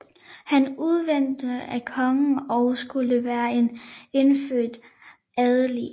Han udnævntes af kongen og skulle være en indfødt adelig